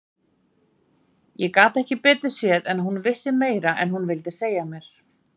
Ég gat ekki betur séð en að hún vissi meira en hún vildi segja mér.